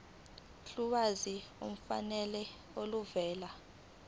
ulwazi olufanele oluvela